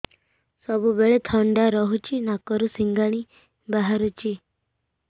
ସବୁବେଳେ ଥଣ୍ଡା ରହୁଛି ନାକରୁ ସିଙ୍ଗାଣି ବାହାରୁଚି